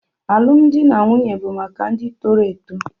Alụmdi na nwunye bụ maka ndị toro eto.